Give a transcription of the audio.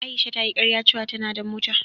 Aisha ta yi karya ce wa ta na da mota